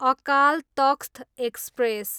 Akal Takht express